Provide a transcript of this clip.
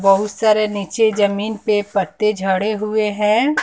बहुत सारे नीचे जमीन पे पत्ते झड़े हुए है।